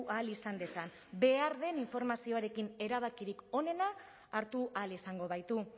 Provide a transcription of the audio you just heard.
ahal izan dezan behar den informazioarekin erabakirik onenak hartu ahal izango baitu